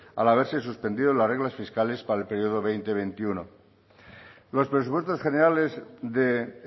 al haberse suspendido las reglas fiscales para el periodo veinte veintiuno los presupuestos generales de